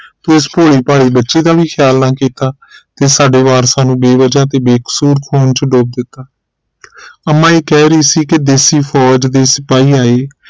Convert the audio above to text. ਤੂੰ ਇਸ ਭੋਲੀ ਭਾਲੀ ਬੱਚੀ ਦਾ ਵੀ ਖਿਆਲ ਨਾ ਕੀਤਾ ਤੇ ਸਾਡੇ ਵਾਰਸਾ ਨੂੰ ਬੇਵਜ੍ਹਾ ਤੇ ਬੇਕਸੂਰ ਖੂਨ ਚ ਡੋਬ ਦਿੱਤਾ ਅੰਮਾ ਇਹ ਕਹਿ ਰਹੀ ਸੀ ਕਿ ਦੇਸੀ ਫੋਜ ਦੇ ਸਿਪਾਹੀ ਆਏ